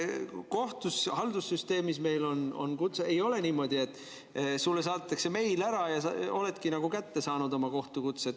Kohtu haldussüsteemis on kutse, ei ole niimoodi, et sulle saadetakse meil ära, ja sa oledki nagu oma kohtukutse kätte saanud.